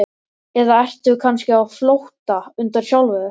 Eða ertu kannski á flótta undan sjálfum þér?